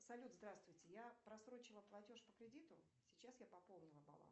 салют здравствуйте я просрочила платеж по кредиту сейчас я пополнила баланс